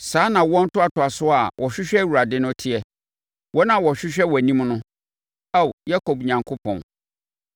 Saa na awoɔ ntoatoasoɔ a wɔhwehwɛ Awurade no teɛ, wɔn a wɔhwehwɛ wʼanim no, Ao Yakob Onyankopɔn.